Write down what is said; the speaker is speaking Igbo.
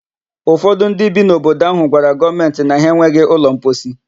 Ufọdụ ndị bi n'obodo áhụ̀ gwara gọọmentị na ha enweghị ụlọmposi.